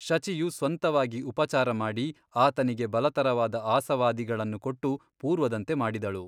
ಶಚಿಯು ಸ್ವಂತವಾಗಿ ಉಪಚಾರಮಾಡಿ ಆತನಿಗೆ ಬಲತರವಾದ ಆಸವಾದಿಗಳನ್ನು ಕೊಟ್ಟು ಪೂರ್ವದಂತೆ ಮಾಡಿದಳು.